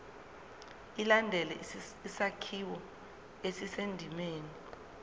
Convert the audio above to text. ilandele isakhiwo esisendimeni